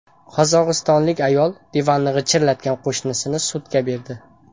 Qozog‘istonlik ayol divanni g‘ichirlatgan qo‘shnisini sudga berdi.